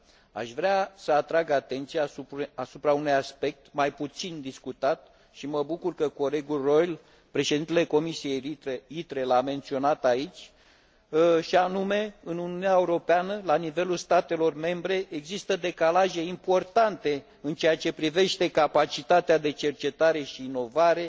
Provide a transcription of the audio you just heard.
Aș vrea să atrag atenția asupra unui aspect mai puțin discutat și mă bucur că colegul Reul, președintele Comisiei ITRE, l a menționat aici și anume că în Uniunea Europeană, la nivelul statelor membre, există decalaje importante în ceea ce privește capacitatea de cercetare și inovare,